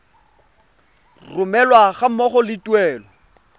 romelwa ga mmogo le tuelo